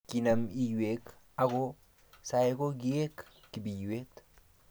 kinam iywek ako sai ko kikoek kibiiywet